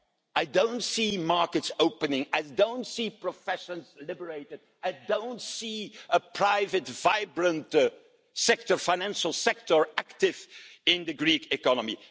place. I don't see markets opening, I don't see professions being deregulated, I don't see a vibrant private financial sector active in the Greek economy.